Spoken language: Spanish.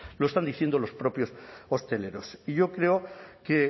lo están diciendo los propios hosteleros yo creo que